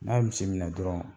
N'a misi minɛ dɔrɔn.